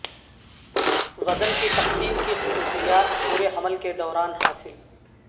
وزن کی تقسیم کی خصوصیات پورے حمل کے دوران حاصل